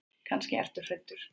Kannski ertu hræddur.